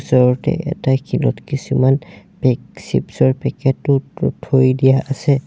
ওচৰতে এটা শিলত কিছুমান পেক চ্চিপ্ছ ৰ পেকেট ও থৈ দিয়া আছে।